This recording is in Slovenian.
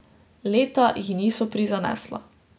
Leta ji niso prizanesla.